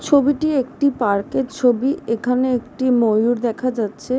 ছবিটি একটি পার্ক -এর ছবি এইখানে একটি ময়ূর দেখা যাচ্ছে ।